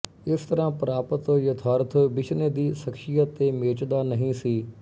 ਇਸ ਤਰ੍ਹਾਂ ਪ੍ਰਾਪਤ ਯਥਾਰਥ ਬਿਸ਼ਨੇ ਦੀ ਸ਼ਖ਼ਸੀਅਤ ਦੇ ਮੇਚ ਦਾ ਨਹੀਂ ਸੀ